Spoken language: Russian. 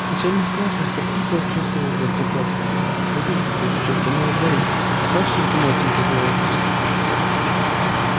в начальных классах папулька ухлёстывал за одноклассницами в средних за девчонками во дворе в старших за молоденькой биологичкой блять